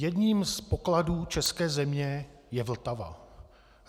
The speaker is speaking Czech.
Jedním z pokladů české země je Vltava.